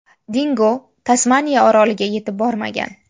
Dingo Tasmaniya oroliga yetib bormagan.